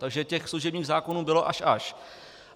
Takže těch služebních zákonů bylo až až.